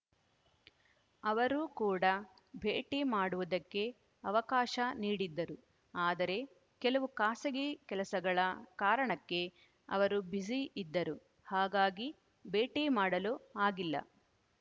ಅವರು ಕೂಡ ಭೇಟಿ ಮಾಡುವುದಕ್ಕೆ ಅವಕಾಶ ನೀಡಿದ್ದರು ಆದರೆ ಕೆಲವು ಖಾಸಗಿ ಕೆಲಸಗಳ ಕಾರಣಕ್ಕೆ ಅವರು ಬ್ಯುಸಿ ಇದ್ದರು ಹಾಗಾಗಿ ಭೇಟಿ ಮಾಡಲು ಆಗಿಲ್ಲ